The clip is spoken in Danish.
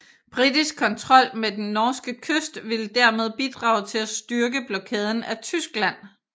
Britisk kontrol med den norske kyst ville dermed bidrage til at styrke blokaden af Tyskland